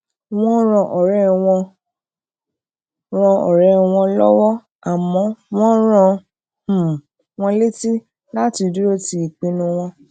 wón ran òré wọn ran òré wọn lówó àmó wón rán um wọn létí láti duro ti ipinnu won